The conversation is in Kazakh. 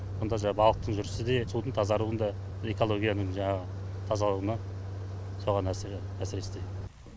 сонда жаңағы балықтың жүрісі де судың тазаруын да экологияның жаңағы тазалығына соған әсер